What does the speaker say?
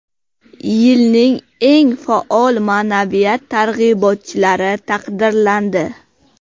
Yilning eng faol ma’naviyat targ‘ibotchilari taqdirlandi.